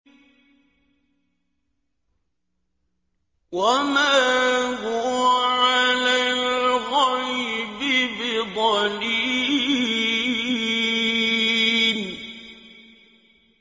وَمَا هُوَ عَلَى الْغَيْبِ بِضَنِينٍ